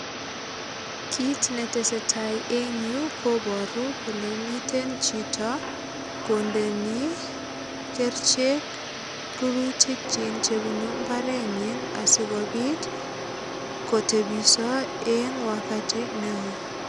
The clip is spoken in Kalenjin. Kit ne tesetai eng yu kobaru kole miten chito kondeni kerichek rurutikyik chebunu imbaret nyin asigopit kotebiso eng wagati neo.